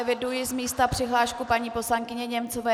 Eviduji z místa přihlášku paní poslankyně Němcové.